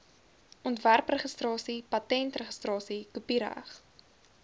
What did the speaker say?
ontwerpregistrasie patentregistrasie kopiereg